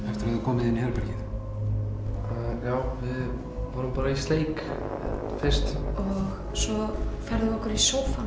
þið komið inn í herbergið já við vorum bara í sleik fyrst og færðum við okkur í sófann